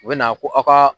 U bɛ na ko aw ka